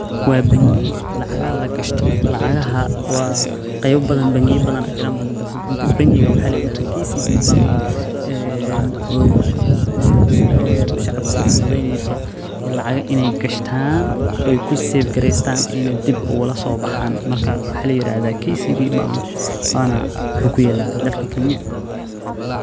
Waa bangi lacagaha lagshto, bangiya badan ayaa jiraan lakin bankigan waxaa kadahaa KCB wuxuuna kuyaala dalka kenya.